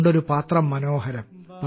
ഉണ്ടൊരു പാത്രം മനോഹരം